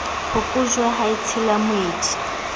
phokojwe ha e tshela moedi